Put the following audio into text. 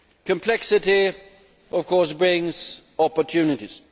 Complexity of course brings opportunities.